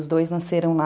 Os dois nasceram lá.